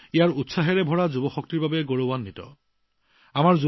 শক্তি আৰু শক্তিৰে ভৰা ভাৰতে নিজৰ যুৱকযুৱতীক লৈ গৌৰৱ অনুভৱ কৰিছে